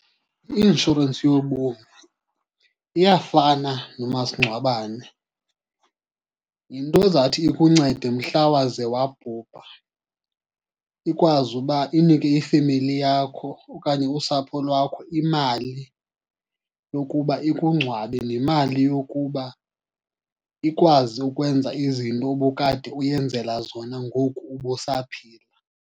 I-inshorensi yobomi iyafana nomasingcwabane. Yinto ezathi ikuncede mhla waze wabhubha, ikwazi uba inike ifemeli yakho okanye usapho lwakho imali yokuba ikungcwabe nemali yokuba ikwazi ukwenza izinto obukade uyenzela zona ngoku ubusaphila.